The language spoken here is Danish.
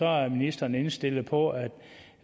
er ministeren indstillet på at